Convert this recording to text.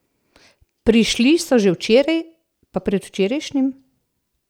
Prišli so že včeraj, pa predvčerajšnjim...